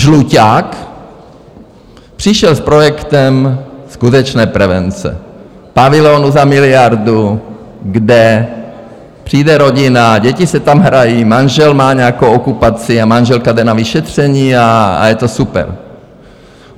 Žluťák přišel s projektem skutečné prevence, pavilonu za miliardu, kde přijde rodina, děti si tam hrají, manžel má nějakou okupaci a manželka jde na vyšetření a je to super.